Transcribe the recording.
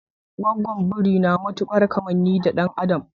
Gwaggon biri na matukar kammani da dan adam.